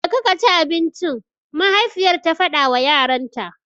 Jeka kaci abincinka! mahaifiyar ta faɗawa yaranta.